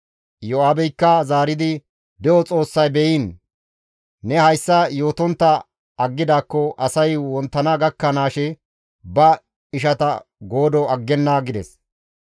Iyo7aabeykka zaaridi, «De7o Xoossay beyiin, ne hayssa yootontta aggidaakko asay wonttana gakkanaashe ba ishata goodo aggenna» gides.